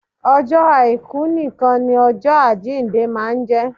Ọjọ́ àìkú nìkan ni ọjọ àjíǹde máa ń jẹ́